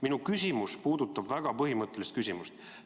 Minu küsimus puudutab väga põhimõttelist küsimust.